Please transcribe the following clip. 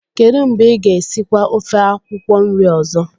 kedu mgbe ị ga-esikwa ofe akwukwo nri ozo?